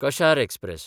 कशार express